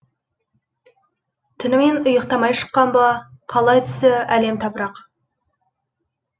түнімен ұйықтамай шыққан ба қалай түсі әлем тапырақ